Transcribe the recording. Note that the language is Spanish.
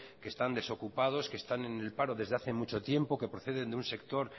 que están desocupados que están en el paro desde hace mucho tiempo que proceden de un sector